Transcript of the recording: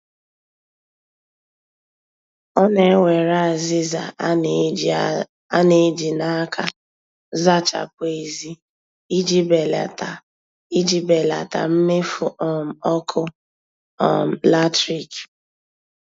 Ọ na-ewere azịza a na-eji n' aka zachapụ èzí iji belata mmefu um ọkụ um latrik